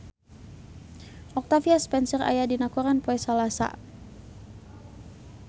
Octavia Spencer aya dina koran poe Salasa